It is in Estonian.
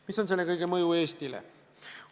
Mis on selle kõige mõju Eestile?